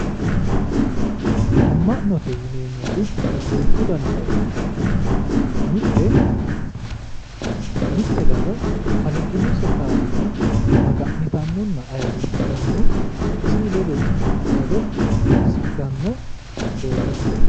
amma'note yineemmoti duuchu danita ikkitanna mitte daga kalaqinose kaaliiqa magannitannonna ayiirisidhanno isi ledono xaado assidhanno doogooti.